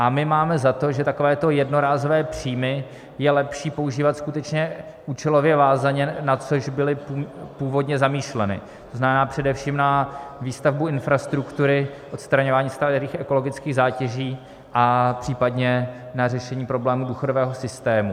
A my máme za to, že takovéto jednorázové příjmy je lepší používat skutečně účelově vázaně, na což byly původně zamýšleny, to znamená především na výstavbu infrastruktury, odstraňování starých ekologických zátěží a případně na řešení problémů důchodového systému.